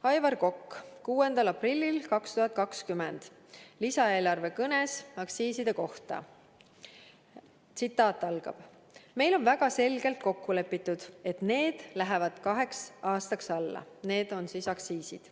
Aivar Kokk, 6. aprillil 2020 lisaeelarve kõnes aktsiiside kohta: "Meil on väga selgelt kokku lepitud, et need lähevad kaheks aastaks alla.